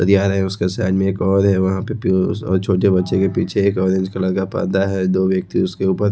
आ रहा है उसके साइड मे एक और है वहाँ पे पियूस और छोटे बच्चे पे पीछे एक ऑरेंज कलर का पर्दा है दो व्यक्ति उसके ऊपर--